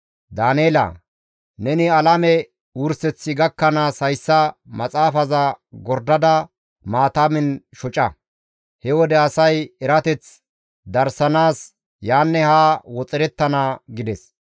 «Daaneela! Neni alame wurseththi gakkanaas hayssa maxaafaza gordada maatamen shoca; he wode asay erateth darsanaas yaanne haa woxerettana» gides.